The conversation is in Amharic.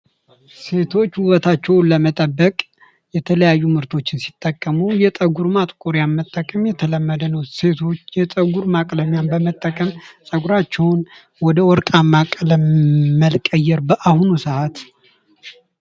ሴቶች ውበታቸውን ለመጠበቅ የተለያዩ ምርቶችን ሲጠቁሙ የፀጉር ማጥቆሪያን መጠቀም የተለመደ ነው። ሴቶች የጸጉር ማጥቆሪያን በመጠቀም ወደ ወርቃማ ቀለም መቀየር በአሁኑ ሰዓት